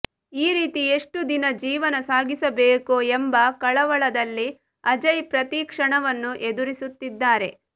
ಈ ರೀತಿ ಎಷ್ಟು ದಿನ ಜೀವನ ಸಾಗಿಸಬೇಕೋ ಎಂಬ ಕಳವಳದಲ್ಲಿ ಅಜಯ್ ಪ್ರತಿ ಕ್ಷಣವನ್ನು ಎದುರಿಸುತ್ತಿದ್ದಾರೆ